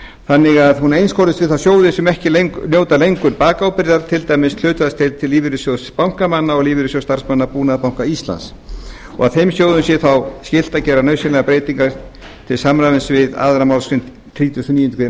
þannig að hún einskorðist við þá sjóði sem ekki njóta lengur bakábyrgðar til dæmis hlutfallslega til lífeyrissjóðs bankamanna og lífeyrissjóðs starfsmanna búnaðarbanka íslands og þeim sjóðum sé þá skylt að gera nauðsynlegar breytingar til samræmis við aðra málsgrein þrítugustu og níundu grein